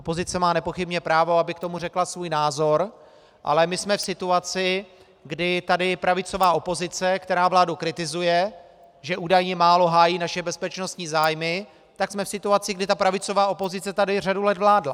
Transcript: Opozice má nepochybně právo, aby k tomu řekla svůj názor, ale my jsme v situaci, kdy tady pravicová opozice, která vládu kritizuje, že údajně málo hájí naše bezpečnostní zájmy, tak jsme v situaci, kdy ta pravicová opozice tady řadu let vládla.